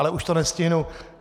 Ale už to nestihnu.